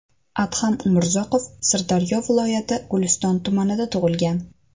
Adham Umrzoqov Sirdaryo viloyati Guliston tumanida tug‘ilgan.